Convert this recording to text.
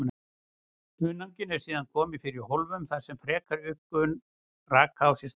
Hunanginu eru síðan komið fyrir í hólfum þar sem frekari uppgufun raka á sér stað.